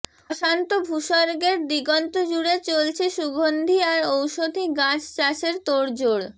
অশান্ত ভূসর্গের দিগন্ত জুড়ে চলছে সুগন্ধী আর ঔষধি গাছ চাষের তোড়জোড়